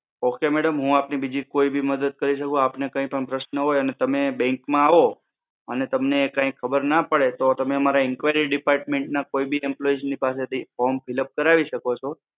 okay madam હું આપની બીજી કોઈ ભી મદદ કરી શકું આપને કોઈ પણ પ્રશ્ન હોય અને તમે Bank માં આવો અને તમને કંઈક ખબર ના પડે તો તમે મારા employee depatment ના કોઈ ભી employees પાસે થી form fill up કરાવી શકો છો.